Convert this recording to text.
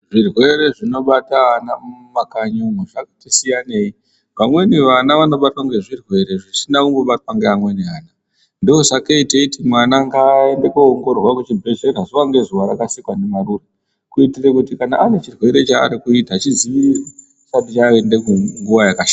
Zvirwere zvinobata vana mumakanyimo zvati siyaneyi pamweni vana vanobatwa ngezvirwere zvisina kumbobatwa ngevamwe vana ndosakei teiti vana ngavaende kuzvibhedhlera zuwa ngezuwa kana ane chirwere chaari kuita chidziirirwe chisati chaenda kure.